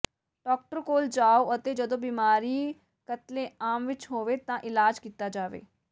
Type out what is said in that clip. doctor ਕੋਲ ਜਾਉ ਅਤੇ ਜਦੋਂ ਬਿਮਾਰੀ ਕਤਲੇਆਮ ਵਿਚ ਹੋਵੇ ਤਾਂ ਇਲਾਜ ਕੀਤਾ ਜਾਵੇ